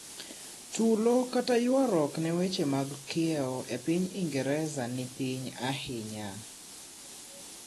tulo kta yuaruok ne weche mag kiewo e pinyingereza ni piny ainya